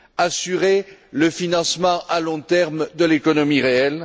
assurer le financement à long terme de l'économie réelle